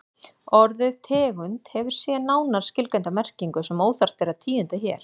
Orðið tegund hefur síðan nánar skilgreinda merkingu sem óþarft er að tíunda hér.